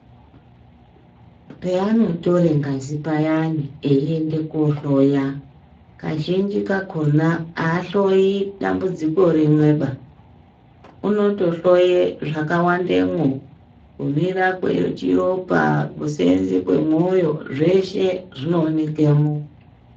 Peyane tore ngazi payani, veyende kuhloya, kazhinji kakhona, ahloyi dambudziko rimweba. Unotohloye zvakawandemo kumira kwechiropa, kusenza kwemoyo, zveshe zvinowoneke mo.